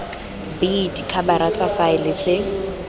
b dikhabara tsa faele tse